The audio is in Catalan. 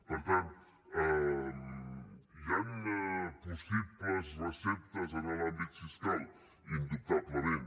per tant hi han possibles receptes en l’àmbit fiscal indubtablement